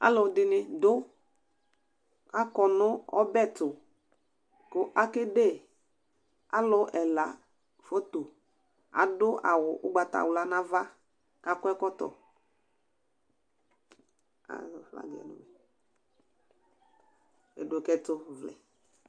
Alʋ dɩnɩ dʋ,k' akɔ nʋ ɔbɛ tʋ,akede alʋ ɛla fotoAdʋ awʋ ʋgbatawla nʋ ava k' akɔ ɛkɔtɔ